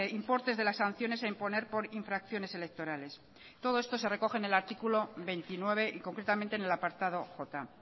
importes de las sanciones a imponer por infracciones electorales todo esto se recoge en el artículo veintinueve y concretamente en el apartado j